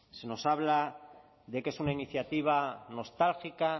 se nos habla de que es una iniciativa nostálgica